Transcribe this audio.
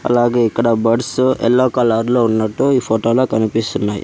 అలాగే ఇక్కడ birds yellow colour లో ఉన్నట్టు ఈ ఫోటోలో కనిపిస్తున్నాయి.